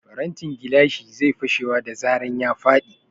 Farantin gilashi zai fashewa da zaran ya faɗi.